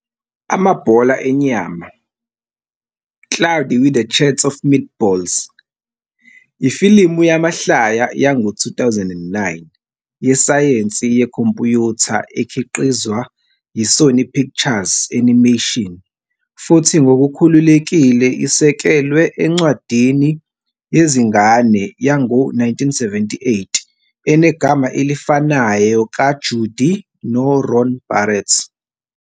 Amabhola Enyama, Cloudy With A Chance of Meatballs, ifilimu yamahlaya yango-2009 yesayensi yekhompuyutha ekhiqizwa yi-Sony Pictures Animation futhi ngokukhululekile isekelwe encwadini yezingane yango-1978 enegama elifanayo ka-Judi no-Ron Barrett.